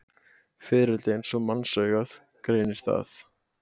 Fiðrildi eins og mannsaugað greinir það.